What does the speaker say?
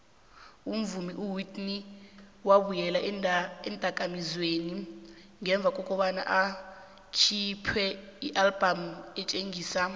umvumi uwhitney wabuyela eendakamizweni ngemva kobana akhiphe ialbum etjhisako